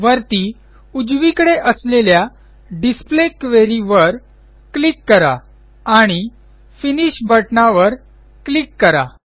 वरती उजवीकडे असलेल्या डिस्प्ले क्वेरी वर क्लिक करा आणि फिनिश बटणावर क्लिक करा